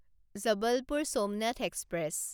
Jabalpur Somnath express